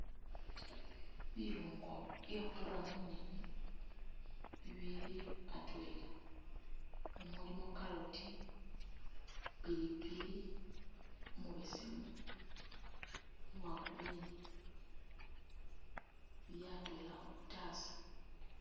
Bilungo bye khura mu nyeenyi bibiili atweela umuli carrot, pilipili umubeseemu ni uwa green bili atweela mu khataasa.